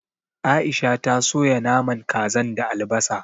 Aisha ta soya naman kazan da albasa